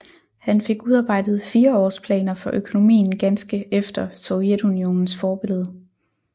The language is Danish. Han fik udarbejdet fireårsplaner for økonomien ganske efter Sovjetunionens forbillede